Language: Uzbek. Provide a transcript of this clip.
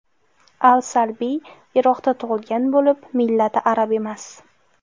Al-Salbiy Iroqda tug‘ilgan bo‘lib, millati arab emas.